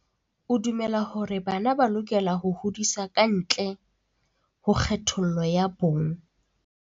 O dumela hore bana ba lokela ho hodiswa ka ntle ho kgethollo ya bong.